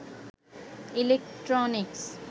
electronics